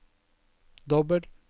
dobbel